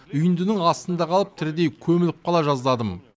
үйіндінің астында қалып тірідей көміліп қала жаздадым